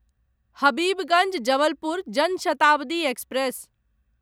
Habibganj Jabalpur Jan Shatabdi express